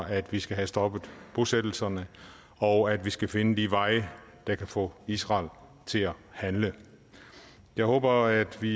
at vi skal have stoppet bosættelserne og at vi skal finde de veje der kan få israel til at handle jeg håber at vi